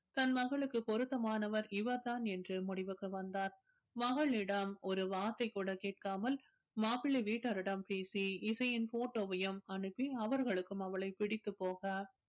தன் மகளுக்கு பொருத்தமானவர் இவர்தான் என்று முடிவுக்கு வந்தார் மகளிடம் ஒரு வார்த்தை கூட கேட்காமல் மாப்பிளை வீட்டாரிடம் பேசி இசையின் போட்டோவையும் அனுப்பி அவர்களுக்கும் அவளை பிடித்து போக